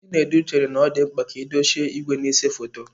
Chinedu chere na ọ dị mkpa ka edochie igwe na-ese foto.